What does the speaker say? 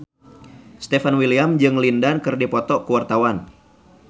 Stefan William jeung Lin Dan keur dipoto ku wartawan